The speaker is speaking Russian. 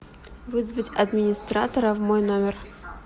вызвать администратора в мой номер